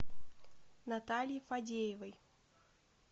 наталье фадеевой